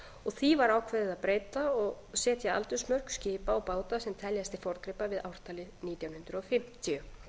og því var ákveðið að breyta og setja aldursmörk skipa og báta sem teljast til forngripa við ártalið nítján hundruð fimmtíu